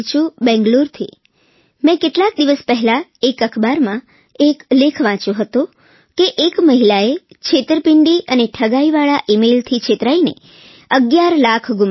બેંગલુરુથી મેં કેટલાક દિવસ પહેલા એક અખબારમાં એક લેખ વાંચ્યો હતો કે એક મહિલાએ છેતરપીંડી અને ઠગાઇ વાળા ઇમેઈલથી છેતરાઈને અગીયાર લાખ ગુમાવ્યા